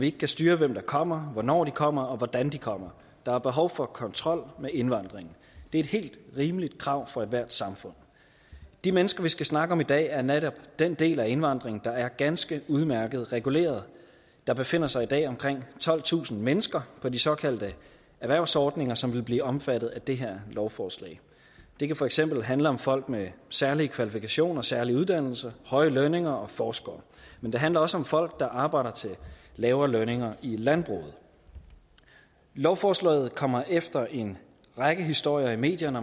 ikke kan styre hvem der kommer hvornår de kommer og hvordan de kommer der er behov for kontrol med indvandringen det er et helt rimeligt krav for ethvert samfund de mennesker vi skal snakke om i dag er netop den del af indvandringen der er ganske udmærket reguleret der befinder sig i dag omkring tolvtusind mennesker på de såkaldte erhvervsordninger som vil blive omfattet af det her lovforslag det kan for eksempel handle om folk med særlige kvalifikationer særlige uddannelser højere lønninger og forskere men det handler også om folk der arbejder til lavere lønninger i landbruget lovforslaget kommer efter en række historier i medierne